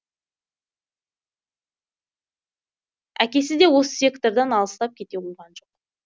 әкесі де осы сектордан алыстап кете қойған жоқ